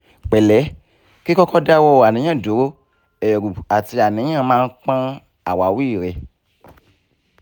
pẹ̀lẹ́ kíkọ́kọ́ dáwọ́ àníyàn duro ẹ̀rù àti àníyàn máa ń pọ́n àwawi rẹ